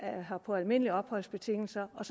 her på almindelige opholdsbetingelser og